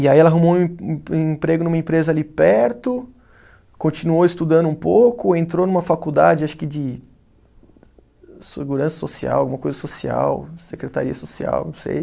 E aí ela arrumou um em, um emprego numa empresa ali perto, continuou estudando um pouco, entrou numa faculdade, acho que de segurança social, alguma coisa social, secretaria social, não sei.